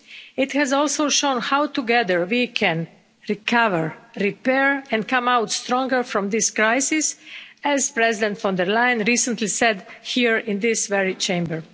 It has also shown how together we can recover, repair and come out stronger from this crisis, as President von der Leyen recently said here in this very Chamber.